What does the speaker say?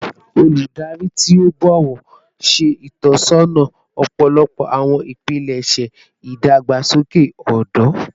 Chinyere, oludari ti o bọwọ, ṣe itọsọna ọpọlọpọ awọn ipilẹṣẹ idagbasoke ọdọ